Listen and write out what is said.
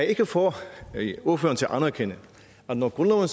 ikke få ordføreren til at anerkende at når grundloven